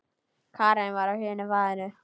Karen var á hinu baðinu.